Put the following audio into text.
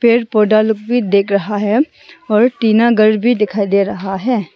पेर पौधा लोग भी देख रहा है और टीना घर भी दिखाई दे रहा है।